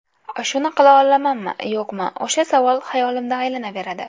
Shuni qila olamanmi, yo‘qmi, o‘sha savol xayolimda aylanaveradi.